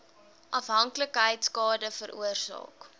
afhanklikheid skade veroorsaak